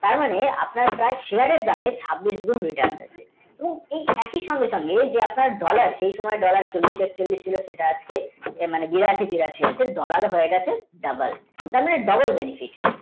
তার মানে আপনার share এর দামে প্রায় আগুন মতন return ঠিক একি সঙ্গে আপনার twenty, one, dollar চল্লিশ একচল্লিশ cent যেটা আসছে সেটা এখন বিরাশী তিরাশি মত dollar হয়ে গেছে তার মানে double, benefit